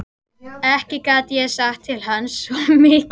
Ekki gat ég sagt til hans, svo mikið var víst.